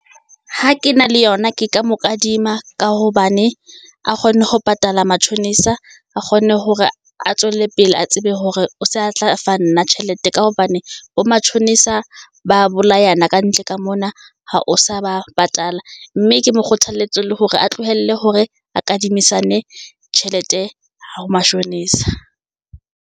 Ha ke na le yona ke ka mo kadima ka hobane a kgone ho patala matjhonisa, a kgone hore a tswele pele a tsebe hore o se a tla fa nna tjhelete. Ka hobane bo matjhonisa ba bolayana kantle ka mona ha o sa ba patala. Mme ke mo kgothaletse le hore a tlohelle hore a kadimisane tjhelete ho mashonisa.